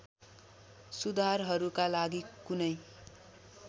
सुधारहरूका लागि कुनै